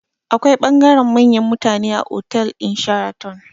Akwai bangaren manyan mutane a otal ɗin sharaton